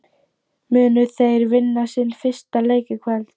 Munu þeir vinna sinn fyrsta leik í kvöld?